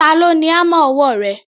Ta ló ni hámà ọwọ́ rẹ?